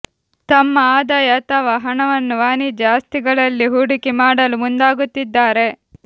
ತಮ್ಮ ಆದಾಯ ಅಥವಾ ಹಣವನ್ನು ವಾಣಿಜ್ಯ ಆಸ್ತಿಗಳಲ್ಲಿ ಹೂಡಿಕೆ ಮಾಡಲು ಮುಂದಾಗುತ್ತಿದ್ದಾರೆ